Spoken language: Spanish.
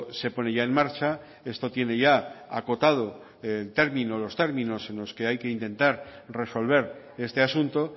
se pone ya en marcha esto tiene ya acotado los términos en los que hay que intentar resolver este asunto